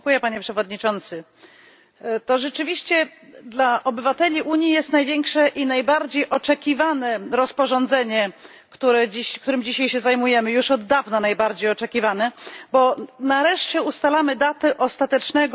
To rzeczywiście dla obywateli Unii jest największe i najbardziej oczekiwane rozporządzenie, którym dzisiaj się zajmujemy już od dawna najbardziej oczekiwane, bo nareszcie ustalamy datę ostatecznego zniesienia opłat za roaming.